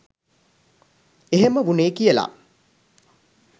එහම වුනේ කියල.